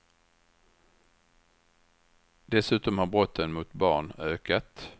Dessutom har brotten mot barn ökat.